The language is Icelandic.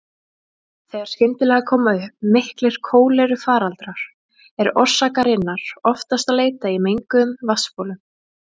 Þegar skyndilega koma upp miklir kólerufaraldrar er orsakarinnar oftast að leita í menguðum vatnsbólum.